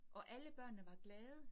Og alle børnene var glade